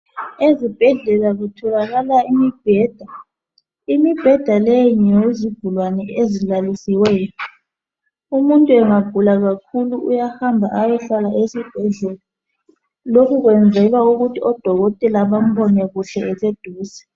Ezibhedlela kutholakala imibheda, imibheda leyi ngeyezigulane ezilalisiweyo umuntu engagula kakhulu uyahamba ayohlala esibhedlela lokhu kwenzelwa ukuthi odokotela bambone kuhle eseduze.